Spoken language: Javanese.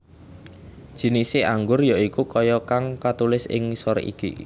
Jinise anggur ya iku kaya kang katulis ing ngisor iki